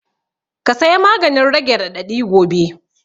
Ka saya maganin rage raɗaɗi gobe